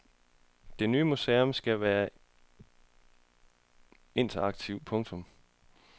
Det ny museum skal være interaktivt. punktum